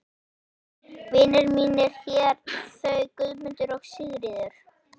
Vinir mínir hér, þau Guðmundur og Sigríður.